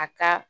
A ka